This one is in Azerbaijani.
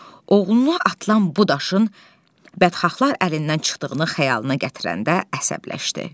Oğluna atılan bu daşın bədxahlar əlindən çıxdığını xəyalına gətirəndə əsəbləşdi.